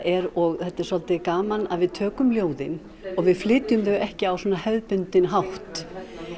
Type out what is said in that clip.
er og þetta er svolítið gaman við tökum ljóðin og við flytjum þau ekki á hefðbundinn hátt